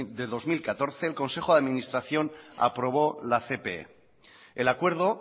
de dos mil catorce el consejo de administración aprobó la cpe el acuerdo